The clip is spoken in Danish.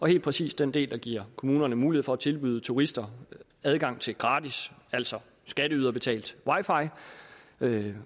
helt præcis den del der giver kommunerne mulighed for at tilbyde turister adgang til gratis altså skatteyderbetalt wi